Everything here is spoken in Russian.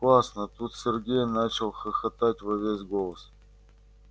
классно тут сергей начал хохотать во весь голос